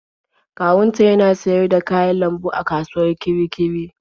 Kawunta yana siyar da kayan lambu a kasuwar Kirikiri.